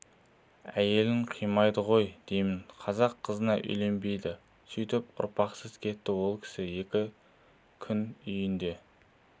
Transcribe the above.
әйелін қимады ғой деймін қазақ қызына үйленбеді сөйтіп ұрпақсыз кетті ол кісі екі күн үйінде